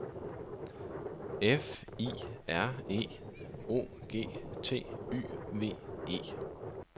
F I R E O G T Y V E